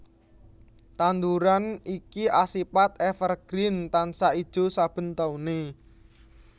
Tanduran iki asipat evergreen tansah ijo saben taune